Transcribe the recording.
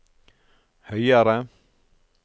høyere